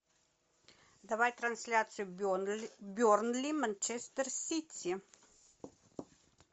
давай трансляцию бернли манчестер сити